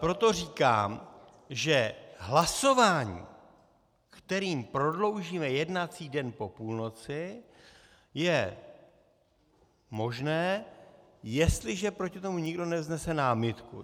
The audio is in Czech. Proto říkám, že hlasování, kterým prodloužíme jednací den po půlnoci, je možné, jestliže proti tomu nikdo nevznese námitku.